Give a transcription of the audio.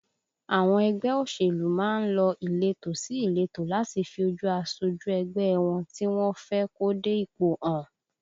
Àwọn ẹgbẹ́ òṣèlú má ń lọ ìletò sí ìletò láti fi ojú asojú ẹgbẹ́ ẹ wọn tí wọ́n fẹ́ kó dé ipò hàn